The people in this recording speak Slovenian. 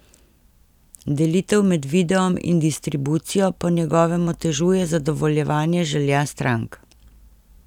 Delitev med videom in distribucijo po njegovem otežuje zadovoljevanje želja strank.